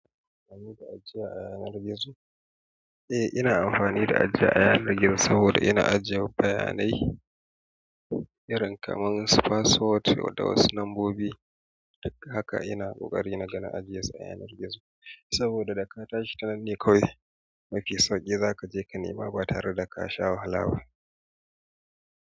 Kina amfani da ajiya a yanar gizo? Eh ina amfani da ajiya a yanar gizo saboda ina ajiyawa bayanai irin kamar su password da wata wasu lambobi. Haka ina kokari naga na ajiye su a yanar gizo saboda da ka tashi tanan ne kawai ma fii sauke za ka je ka nema ba tare da ka sha wahala ba.